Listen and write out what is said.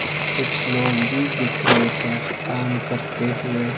कुछ लोग भी दिख रहे हैं काम करते हुए--